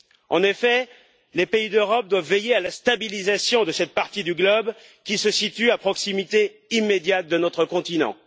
En effet, les pays d'Europe doivent veiller à la stabilisation de cette partie du globe qui se situe à proximité immédiate de notre continent.